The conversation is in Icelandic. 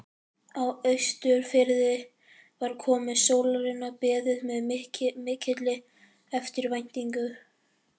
Á Austurfirði var komu sólarinnar beðið með mikilli eftirvæntingu.